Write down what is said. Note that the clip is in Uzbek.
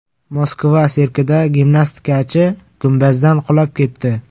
Moskva sirkida gimnastikachi gumbazdan qulab ketdi.